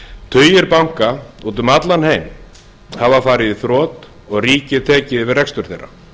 tugir banka úti um allan heim hafa farið í þrot og ríkið tekið yfir rekstur þeirra